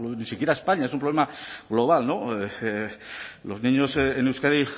ni siquiera españa es un problema global los niños en euskadi